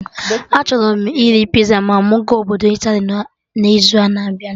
Achọrọ m iri pizza ma mụ ga obodo Italy n'izu na-abịa